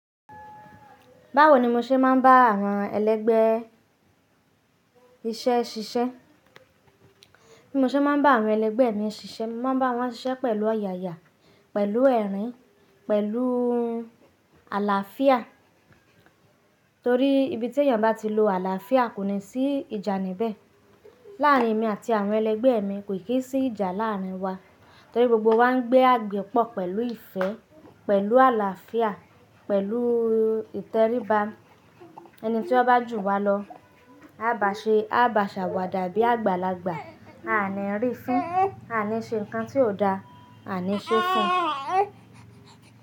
Báwo ni mo ṣe máa ń bá àwọn ẹlẹgbẹ́ iṣẹ́ ṣiṣẹ́? Bí mo ṣe máa ń bá àwọn ẹlẹgbẹ́ mi ṣiṣẹ́, mo máa ń bá wọn ṣiṣẹ́ pẹ̀lú oyàya, pẹ̀lú ẹ̀rín, pẹ̀lú àlàáfíà. Torí ibi tí èèyàn bá ti lo àlàáfíà kò ní sí ìjà níbẹ̀. Láàárín èmi àti àwọn ẹlẹgbẹ́ mi kò kin sí ìjà láàárín wa. Torí gbogbo wa ń gbé àgbẹ̀ pọ̀ pẹ̀lú ìfẹ́, pẹ̀lú àlàáfíà, pẹ̀lú ìtẹríba. Ẹni tí ó bá jù wa lọ, a bá ṣe, a bá ṣàwàdà bí àgbàlagbà, a ní rí fin, a ní ṣe nǹkan tí ò dáa, a ní ṣe fún.